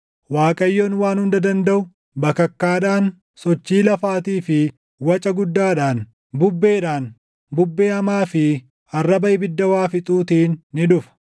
Waaqayyoon Waan Hunda Dandaʼu, bakakkaadhaan, sochii lafaatii fi waca guddaadhaan, bubbeedhaan, bubbee hamaa fi arraba ibidda waa fixuutiin ni dhufa.